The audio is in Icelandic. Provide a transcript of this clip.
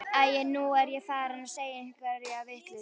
Æi, nú er ég farin að segja einhverja vitleysu.